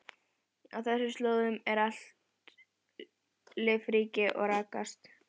Á þessum slóðum er allt lífríki að raskast.